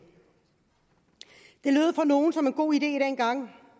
det lød for nogle som en god idé dengang